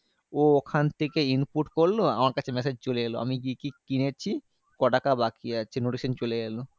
ও ওখান থেকেই input করলো আমার কাছে massage চলে এলো। আমি কি কি কিনেছি? ক টাকা বাকি আছে? notification চলে এলো।